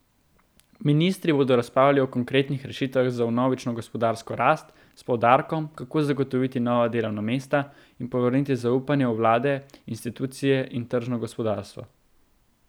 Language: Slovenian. Ministri bodo razpravljali o konkretnih rešitvah za vnovično gospodarsko rast s poudarkom, kako zagotoviti nova delovna mesta in povrniti zaupanje v vlade, institucije in tržno gospodarstvo.